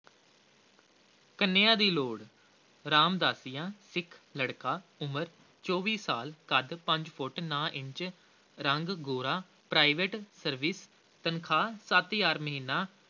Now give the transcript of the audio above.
ਕੰਨਿਆ ਦੀ ਲੋੜ, ਰਾਮਦਾਸੀਆਂ ਸਿੱਖ ਲੜਕਾ, ਉਮਰ ਚੌਵੀ ਸਾਲ, ਕੱਦ ਪੰਜ ਫੁੱਟ ਨੌਂ ਇੰਚ, ਰੰਗ ਗੋਰਾ private service ਤਨਖ਼ਾਹ ਸੱਤ ਹਜ਼ਾਰ ਮਹੀਨਾ